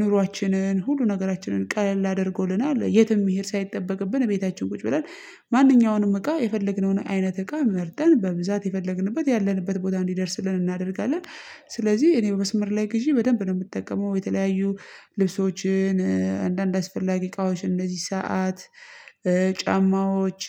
ኑሮአችንን ሁሉ ነገራችንን ቀለል አድርጎልናል የትም መሄድ ሳይጠበቅብን ቤታችን ቁጭ ብለን ማንኛውንም እቃ የፈለግነውን አይነት እቃ መርጠን በብዛት የፈለግንበት ያለንበት ቦታ እንዲደርስልን እናደርጋለን። ስለዚህ እኔ በመስመር ላይ ግዢ በደንብ ነው የምጠቀመው የተለያዩ ልብሶችን አንዳንድ አስፈላጊ እቃዎች እንደዚህ ሰዓት ጫማዎች